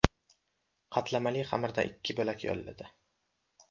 Qatlamali xamirdan ikki bo‘lak yoyiladi.